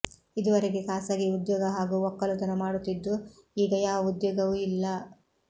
ಇದುವರೆಗೆ ಖಾಸಗಿ ಉದ್ಯೋಗ ಹಾಗೂ ಒಕ್ಕಲುತನ ಮಾಡುತ್ತಿದ್ದು ಈಗ ಯಾವ ಉದ್ಯೋಗವೂ ಇಲ್ಲ